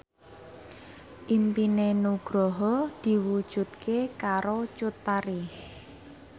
impine Nugroho diwujudke karo Cut Tari